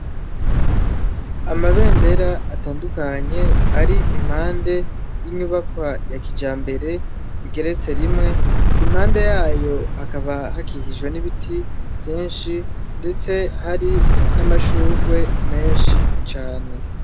Amabendera atandukanye ari impande y'inyubakwa ya kijambere igeretse rimwe, impande yayo hakaba hakikijwe n'ibiti vyinshi ndetse hari n'amashugwe menshi cane.